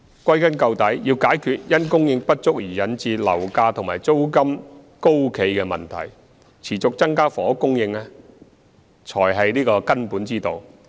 歸根究底，要解決因供應不足而引致樓價和租金高企的問題，持續增加房屋供應才是根本之道。